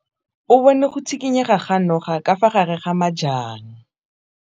O bone go tshikinya ga noga ka fa gare ga majang.